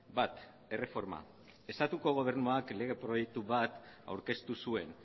bat erreforma estatuko gobernuak lege proiektu bat aurkeztu zuen